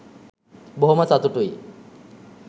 බොහොම සතුටුයි